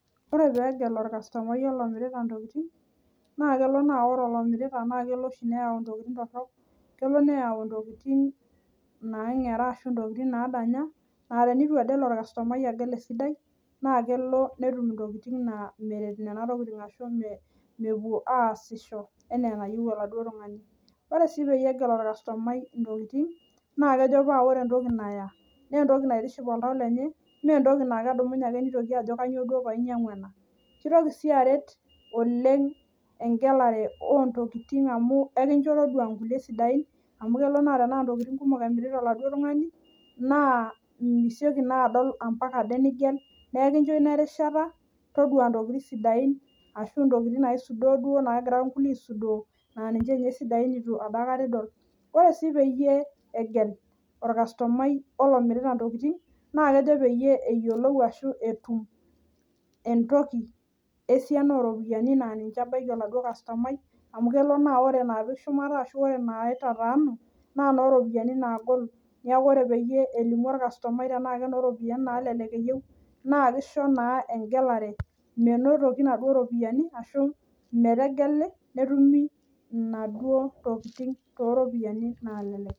Ore peegel orkastomai olomirita intokiting naa kelo naa ore olomirita naa kelo oshi neyau intokiting torrok kelo neyau intokiting naang'era ashu intokiting nadanya naa tenitu ade elo orkastomai agel esidai naa kelo netum intokiting naa meret nena tokiting ashu me mepuo aasisho enaa enayieu oladuo tung'ani ore sii peyie egel orkastomai intokiting naa kejo paa ore entoki naya nentoki naitiship oltau lenye mentoki naa kedumunye ake nitoki ajo kanyio duo painyiang'ua ena kitoki sii aret oleng engelare ontokiting amu ekincho todua inkulie sidain amu kelo naa tenaa intokiting kumok emirita oladuo tung'ani naa misioki naa adol ampaka ade nigel neekincho ina erishat todua intokiting sidain ashu intokiting naisudoro duo naagira inkulie aisudoo naa ninche inye isidain nitu apa aikata idol ore sii peyie egel orkastomai olomirita intokiting naa kejo peyie eyiolou ashu peyie etum entoki esiana oropiyiani naa ninche ebaiki oladuo kastomai amu kelo naa ore inapik shumata ashu ore naitataanu naa inoropiyiani naagol niaku ore peyie elimu orkastomai tenaa kenoropiyiani nalelek eyieu naa kisho naa engelare menotoki inaduo ropiyiani ashu metegeli netumi inaduo tokiting toropiyiani nalelek.